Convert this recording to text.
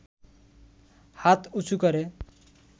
হাত উঁচু করে